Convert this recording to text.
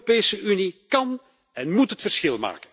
De Europese Unie kan en moet het verschil maken.